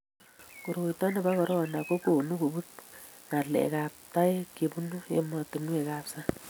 koroito nebo korona ko konu kobut ngalek ab taek chebunu ematunuek ab sang